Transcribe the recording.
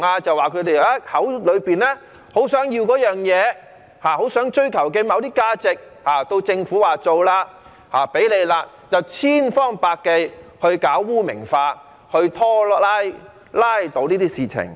就是他們口口聲聲說很想要某些東西，很想追求某些價值，但到政府說要做的時候，他們卻千方百計搞污名化，拉倒這些事情。